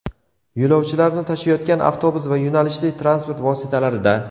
yo‘lovchilarni tashiyotgan avtobus va yo‘nalishli transport vositalarida;.